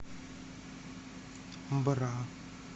бра